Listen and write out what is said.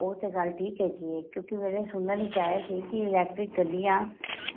ਉਹ ਤੇ ਗੱਲ ਠੀਕ ਏ ਹੈਗੀ ਏ ਕਿਉਂਕਿ ਮੇਰੇ ਸੁਹਣ ਵਿੱਚ ਆਇਆ ਸੀ ਕੀ electric ਗੱਡੀਆਂ